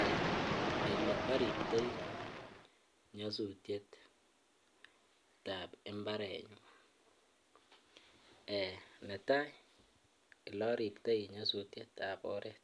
Eeh eleoriptoi nyosutietab imbarenyun, netaa eloribtoi eleribtoi nyosutietab oreet